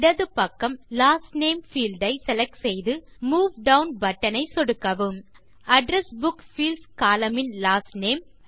இடது பக்கம் last name field ஐ செலக்ட் செய்து மூவ் டவுன் பட்டன் ஐ சொடுக்கவும் அட்ரெஸ் புக் பீல்ட்ஸ் கோலம்ன் இன் லாஸ்ட் நேம்